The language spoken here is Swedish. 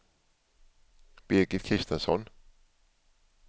Birgit Kristensson